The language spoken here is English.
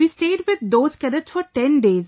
We stayed with those cadets for 10 days